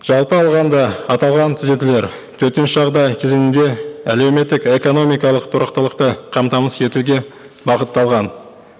жалпы алғанда аталған түзетулер төтенше жағдай кезеңінде әлеуметтік экономикалық тұрақтылықты қамтамасыз етуге бағытталған